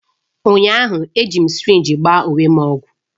Ụnyahụ, ejiri m sirinji gbaa onwe m ọgwụ.